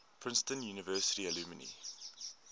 princeton university alumni